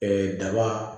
daba